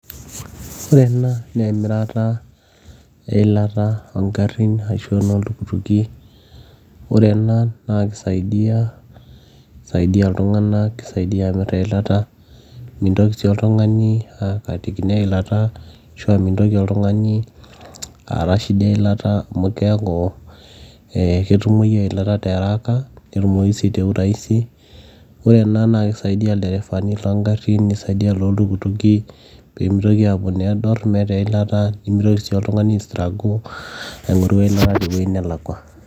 ore ena naa emirata eilata oongrrin ashu enoltukituki ore ena naa kisaidia kisaidia iltung'anak kisaidia amirr eilata mintoki sii oltung'ani akatikino eilata ashua mintoki oltung'ani aata shida eilata amu keeku eh ketumoyu eilata tiaraka netumoyu sii te uraisi ore ena naa kisaidia ilderefani loongarrin nisaidia iloltuktuki peemitoki aapuo nedorr meeta eilata nimitoki sii oltung'ani ae struggle aing'oru eilata tewueji nelakua.